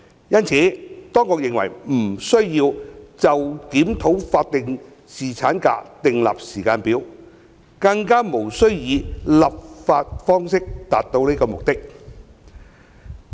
因此，當局認為不需要就檢討法定侍產假訂立時間表，更加無須以立法方式達到此目的。